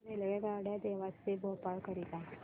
रेल्वेगाड्या देवास ते भोपाळ करीता